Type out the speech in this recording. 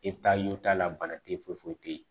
E t'a y'o t'a la bana te yen foyi foyi te yen